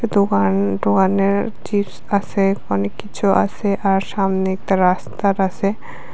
দোকান দোকানের চিপস আসে অনেক কিছু আসে আর সামনে একতা রাস্তার আসে।